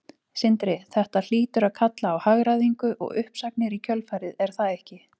Sindri: Þetta hlýtur að kalla á hagræðingu og uppsagnir í kjölfarið er það ekki?